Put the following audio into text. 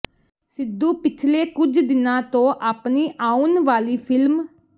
ਸਿੱਧੂ ਪਿਛਲੇ ਕੁਝ ਦਿਨਾਂ ਤੋਂ ਆਪਣੀ ਆਉਣ ਵਾਲੀ ਫਿਲਮ